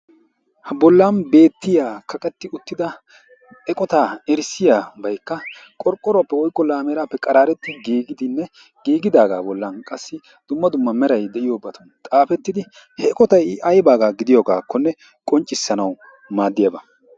Ha bollan kaqetti uttida eqotaa erissiyaabay qorqoruwaappe woyikko laameeraappe qaraaretti giigidinne giigidaagaa bollan qassi dumma dumma meray de'iyoobati xaafettidi he eqotay i aybaagaa gidiyoogaakkone qonccisanaw maaddiyaaba.